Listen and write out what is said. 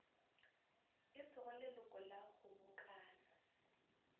e sego leloko la kgobokano